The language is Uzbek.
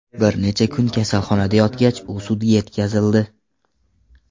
Bir necha kun kasalxonada yotgach, u sudga yetkazildi.